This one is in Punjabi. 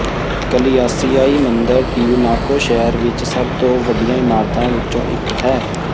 ਕਲਿਆਸਿਆਇ ਮੰਦਰ ਟਿਯੂਨਾਕੋ ਸ਼ਹਿਰ ਵਿਚ ਸਭ ਤੋਂ ਵੱਡੀਆਂ ਇਮਾਰਤਾਂ ਵਿਚੋਂ ਇਕ ਹੈ